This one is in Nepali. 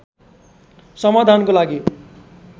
समाधानको लागि